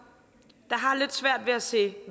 der har lidt svært ved at se